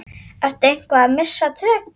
Ertu eitthvað að missa tökin?